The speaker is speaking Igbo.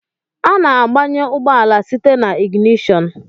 Ana agbanye ụgbọala site n'iginishon.